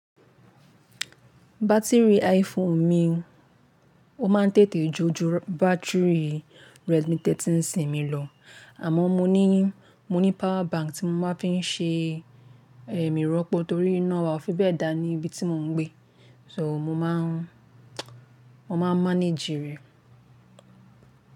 Batiri iPhone mi, ó máa ń tètè jo ju batiri Redmi 13C mi lọ. Àmọ́ mo ní, mo ní power bank tí mo máa ń fi ṣe, eh, ìrọ́pò torí iná wa ò fi bẹ́ẹ̀ dá ní ibi tí mò ń gbé. So mo máa ń, mo máa ń manage rẹ̀.